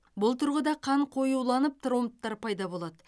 бұл тұрғыда қан қоюланып тромбтар пайда болады